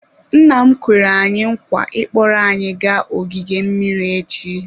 Nna m kwere anyị nkwa ị kpọrọ anyị gaa ogige mmiri echi.